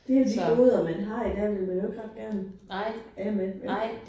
Det jo de goder man har i dag dem vil man jo ikke ret gerne af med vel